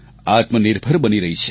આત્મનિર્ભર બની રહી છે